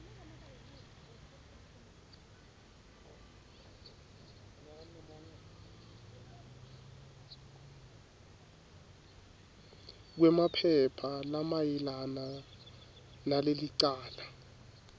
kwemaphepha lamayelana nalelicala